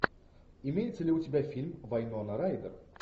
имеется ли у тебя фильм вайнона райдер